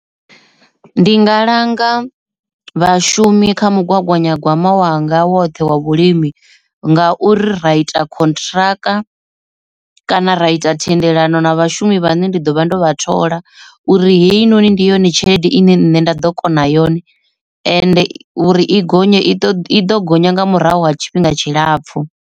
Ndi nga langa vhashumi kha mugaganyagwama wanga woṱhe wa vhulimi ngauri ra ita contract kana ra ita thendela ano na vhashumi vhane ndi ḓo vha ndo vha thola uri heyi noni ndi yone tshelede ine nṋe nda ḓo kona yone ende i uri i gonye i i ḓo gonya nga murahu ha tshifhinga tshilapfhu.